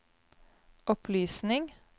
opplysning